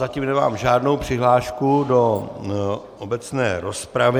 Zatím nemám žádnou přihlášku do obecné rozpravy.